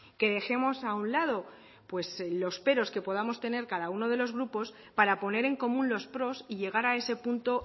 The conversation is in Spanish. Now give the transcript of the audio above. que dejemos a un lado los peros que podamos tener cada uno de los grupos para poner en común los pros y llegar a ese punto